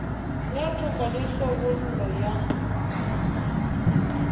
ya toka le tlhabollo ya